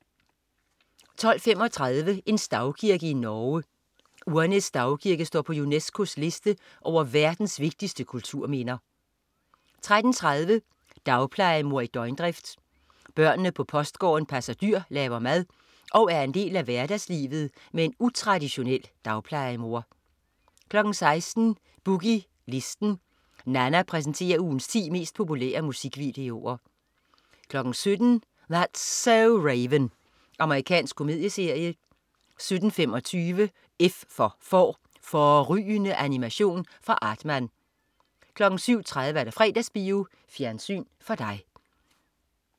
12.35 En stavkirke i Norge. Urnes stavkirke står på UNESCOs liste over verdens vigtigste kulturminder 13.30 Dagplejemor i døgndrift. Børnene på Postgården passer dyr, laver mad og er en del af hverdagslivet med en utraditionel dagplejemor 16.00 Boogie Listen. Nanna præsenterer ugens ti mest populære musikvideoer 17.00 That's so Raven. Amerikansk komedieserie 17.25 F for Får. Fårrygende animation fra Aardman 17.30 Fredagsbio. Fjernsyn for dig